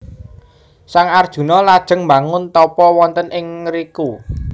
Sang Arjuna lajeng mbangun tapa wonten ing ngriku